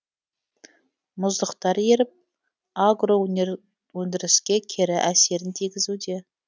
мұздықтар еріп агроөндіріске кері әсерін тигізуде